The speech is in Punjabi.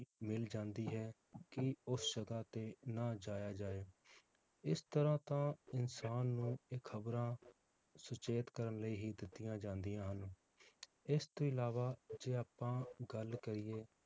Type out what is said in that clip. ਮਿਲ ਜਾਂਦੀ ਹੈ ਕਿ ਉਸ ਜਗਾਹ ਤੇ ਨਾ ਜਾਇਆ ਜਾਏ ਇਸ ਤਰਾਹ ਤਾਂ ਇਨਸਾਨ ਨੂੰ ਇਹ ਖਬਰਾਂ ਸੁਚੇਤ ਕਰਨ ਲਈ ਹੀ ਦਿੱਤੀਆਂ ਜਾਂਦੀਆਂ ਹਨ ਇਸ ਤੋਂ ਅਲਾਵਾ ਜੇ ਆਪਾਂ ਗੱਲ ਕਰੀਏ